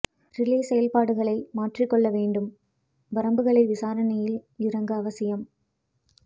relay செயற்பாடுகளை மாற்றிக் கொள்ள வேண்டும் வரம்புகளை விசாரணையில் இறங்க அவசியம்